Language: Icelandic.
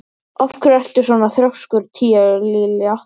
Af hverju ertu svona þrjóskur, Tíalilja?